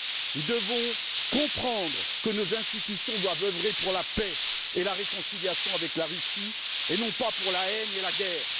Nous devons comprendre que nos institutions doivent œuvrer en faveur de la paix et de la réconciliation avec la Russie, et non pas pour la haine et la guerre.